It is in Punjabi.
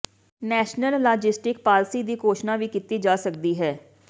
ਨੈਸ਼ਨਲ ਲਾਜਿਸਟਿਕ ਪਾਲਸੀ ਦੀ ਘੋਸ਼ਣਾ ਵੀ ਕੀਤੀ ਜਾ ਸਕਦੀ ਹੈ